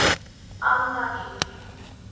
Anna Ýr.